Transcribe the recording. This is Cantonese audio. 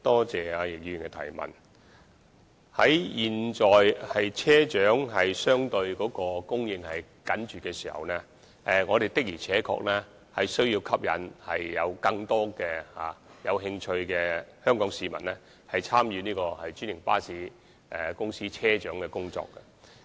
在現時車長人手相對緊絀的時候，我們的確需要吸引更多有興趣的香港市民參與專營巴士公司的車長工作。